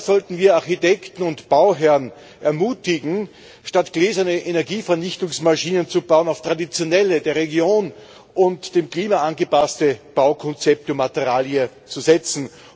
Daher sollten wir Architekten und Bauherren ermutigen, statt gläserne Energievernichtungsmaschinen zu bauen, auf traditionelle, der Region und dem Klima angepasste Baukonzepte und materialien zu setzen.